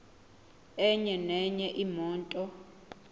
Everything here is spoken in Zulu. enye nenye imoto